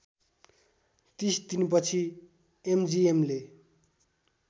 ३० दिनपछि एमजिएमले